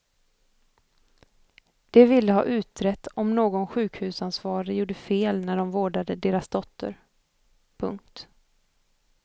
De ville ha utrett om någon sjukhusansvarig gjorde fel när de vårdade deras dotter. punkt